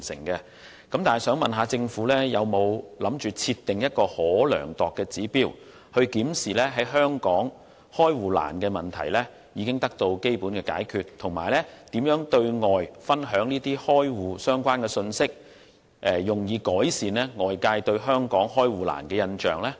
不過，我想問局長，當局有否打算設定一個可量度的指標，用以檢視香港開戶困難的問題基本上已得到解決，以及當局會如何對外分享這些有關開戶的信息，以改善外界對香港開戶困難的印象呢？